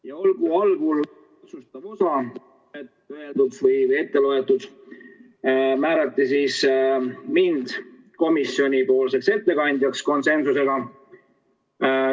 Ja koosoleku algul otsustati määrati mind komisjoni ettekandjaks – konsensusega.